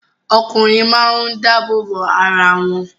Ọkùnrin máa ń dáàbòbò arawọn